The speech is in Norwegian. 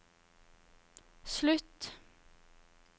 slutt